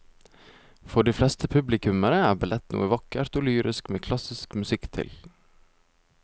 For de fleste publikummere er ballett noe vakkert og lyrisk med klassisk musikk til.